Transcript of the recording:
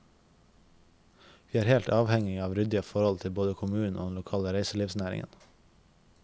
Vi er helt avhengige av ryddige forhold både til kommunen og den lokale reiselivsnæringen.